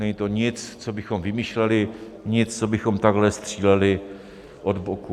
Není to nic, co bychom vymýšleli, nic, co bychom takhle stříleli od boku.